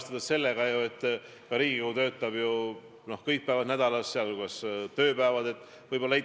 Tahaks muidugi küsida, et mis või kes see nokkija on, kus see salajane loom siis on, kes kogu aeg teie vastu töötab.